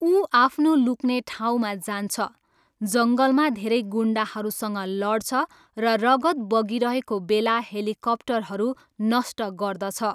ऊ आफ्नो लुक्ने ठाउँमा जान्छ, जङ्गलमा धेरै गुन्डाहरूसँग लड्छ, र रगत बगिरहेको बेला हेलिकप्टरहरू नष्ट गर्दछ।